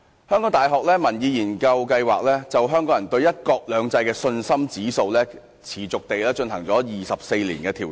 香港大學民意研究計劃就香港人對"一國兩制"的信心指數，持續地進行了24年調查。